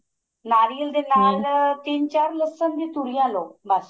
ਨਾਰੀਅਲ ਦੇ ਤਿੰਨ ਚਾਰ ਲਸਣ ਤੁਰੀਆਂ ਲੋ ਬੱਸ